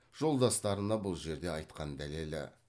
жолдастарына бұл жерде айтқан дәлелі